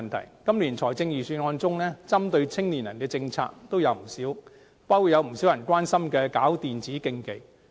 在今年的預算案中，針對青年人的政策也有不少，包括有不少人關心的舉辦電子競技。